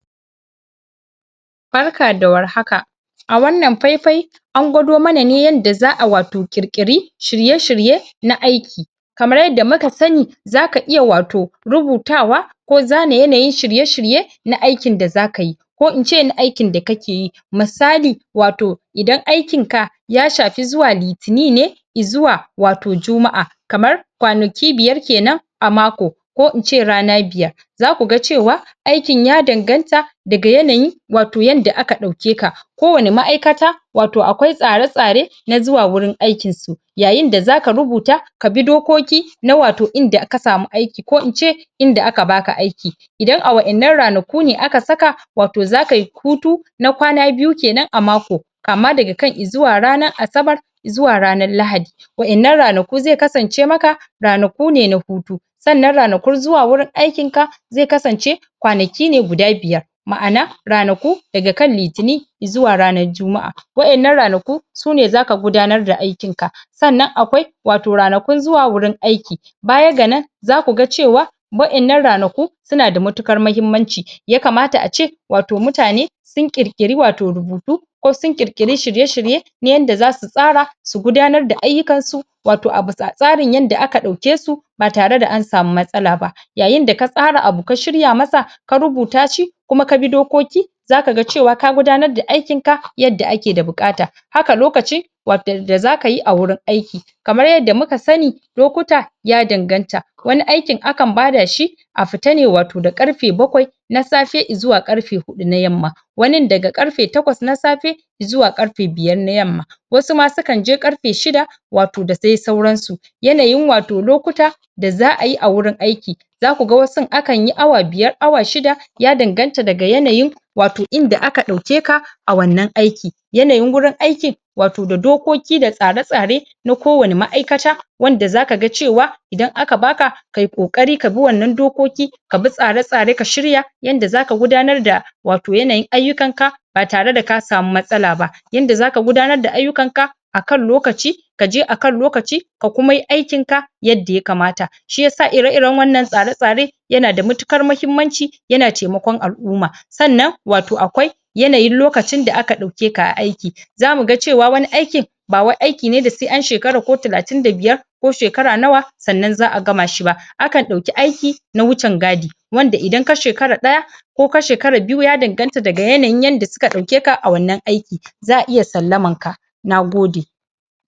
Barka da war haka, a wannan pai-pai an gwado mana ne yanda za'a wato ƙirƙiri shiye-shirye na aiki. Kamar yadda muka sani, zaka iya wato rubutawa ko zane yanayin shirye-shirye na aikin da zaka yi ko ince na aikin da kakeyi misali, wato idan aikin ka ya shapi zuwa litini ne izuwa wato juma'a kamar kwanaki biyar kenan a mako ko ince rana biyar za kuga cewa aikin ya danganta daga yanayin wato yanda aka ɗauke ka ko wani ma'aikata wato akwai tsare-tsare na zuwa wurin aikin su. Yayinda zaka rubuta ka bi dokoki na wato inda ka samu aiki ko ince inda aka baka aiki idan a wa'innan ranaku ne aka saka wato za kayi hutu na kwana biyu kenan a mako kama daga kan izuwa ranan asabar zuwa ranan lahadi. Wa'innan ranaku ze kasance maka ranaku ne na hutu, sannan ranakun zuwa wurin aikin ka ze kasance kwanaki ne guda biyar ma'ana ranaku daga kan litini izuwa ranar juma'a, wa'innan ranaku sune zaka gudanar da aikin ka, sannan akwai wato ranakun zuwa wurin aiki. Baya ga nan za kuga cewa wa'innan ranaku suna da matuƙar mahimmanci, ya kamata a ce wato mutane sun ƙirƙiri wato rubutu ko sun ƙirƙiri shirye-shirye na yanda za su tsara su gudanar da ayyukan su wato a bisa tsarin yanda aka ɗauke su ba tarada an samu matsala ba. Yayinda ka tsara abu ka shirya masa ka rubuta shi kuma ka bi dokoki zaka ga cewa ka gudanar da aikin ka yadda ake da buƙata haka lokaci da za kayi a wurin aiki. Kamar yadda muka sani lokuta ya danganta wani aikin akan badaa shi a fita ne wato da karfe bakwai na safe izuwa ƙarfe huɗu na yamma wanin daga ƙarfe takwas na safe izuwa ƙarfe biyar na yamma wasu ma sukan je ƙarfe shida wato da dai sauransu. Yanayin wato lokuta da za'ayi a wurin aiki za kuga wasun akanyi awa biyar awa shida ya danganta daga yanayin wato inda aka ɗauke ka a wannan aiki. Yanayin wurin aikin wato da dokoki da tsare-tsare na ko wani ma'aikata wanda za kaga cewa idan aka baka kayi ƙoari ka bi wannan dokoki ka bi tsare-tsare ka shirya yanda zaka gudanar da wato yanayin ayyukan ka ba tarada ka samu matsala ba yanda zaka gudanar da ayyukan ka akan lokaci ka je akan lokaci ka kuma yi aikin ka yadda ya kamata. Shiyasa ire-iran wannan tsare-tsare yana da matuƙar mahimmanci yana taimakon al'umma, sannan wato akwai yanayin lokacin da aka ɗauke ka a aiki za muga cewa wani aikin ba wai aiki ne da se an shekara ko talatin da biyar ko shekara nawa sannan za'a gama shi ba akan ɗauki aiki na huchan gadi wanda idan ka shekara ɗaya ko ka shekara biyu ya danganta daga yanayin yanda suka ɗaukeka a wannan aiki za'a iya sallaman ka, nagode.